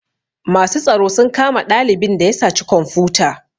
Masu tsaro sun kama ɗalibin da ya saci komfuta